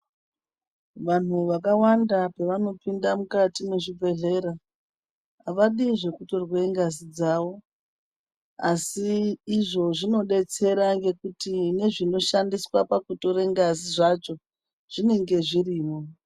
Vanhu vakawanda pevanopinda mukati mwezvibhedhlera, havadi zvekutorwe ngazi dzawo, Asi izvo zvinodetsera ngekuti nezvinoshandiswa pakutore ngazi zvacho zvinenge zvirimwo.